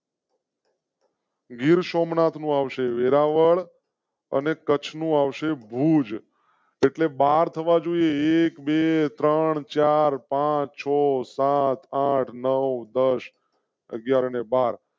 ગીર સોમનાથ માં આવશે. વેરાવળ અને કચ્છનું આવશે ભૂજ ભારત માં જોઈએ, એક બે ત્રણ ચાર પાંચ છ સાત આઠ નૌ દસ અગિયાર ને બાર